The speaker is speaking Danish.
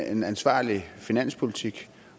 en ansvarlig finanspolitik